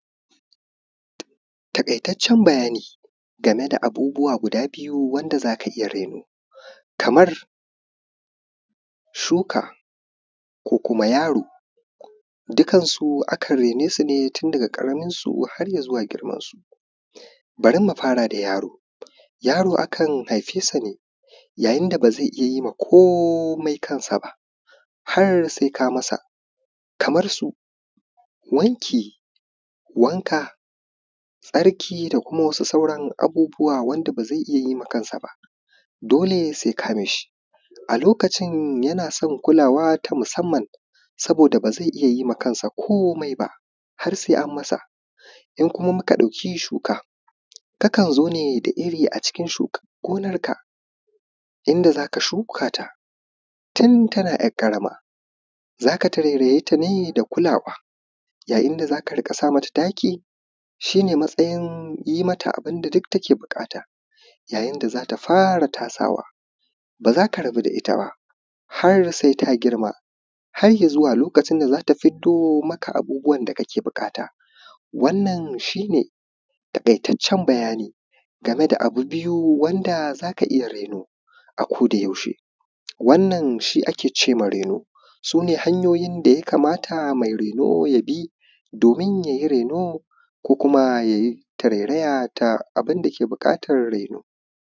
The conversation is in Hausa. taƙaitaccen bayani game da abubuwa guda biyu wanda za ka iya raino kaman shuka ko kuma yaro dukkansu akan raine su ne tun daga ƙaramansu har i zuwa girman su bari mu fara da yaro yaro akan haife sa ne yayin da ba zai iya ma komai kansa ba har sai ka masa kaman su wanki wanka tsarki kaman su sauran abubuwa wanda ba zai iya ma kansa ba dole sai ka mi shi a lokacin yana son kulawa ta musamman saboda ba zai iya ma kansa komai ba har sai an ma sa in kuma muka ɗauki shuka kakan zo ne da irin a cikin shukan gonar ka in da za ka shuka ta tun tana ‘yar ƙarama za ka tarairaye ta ne da kulawa yayin da za ka riƙa sa mata taki shi ne matsayin yin mata abun da duk take buƙata yayin da za ta fara tasawa ba za ka rabu da ita ba har sai ta girma har i zuwa lokacin da za ta fiddo maka abubuwan da kake buƙata wannan shi ne taƙaitaccen bayani game da abu biyu wanda za ka iya raino a koda yaushe wannan shi a ke ce ma raino su ne hanyoyin da ya kamata mai raino ya bi domin ya yi raino ko kuma ya yi tarairaya ta abunda ke buƙatan raino